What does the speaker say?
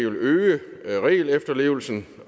øge regelefterlevelsen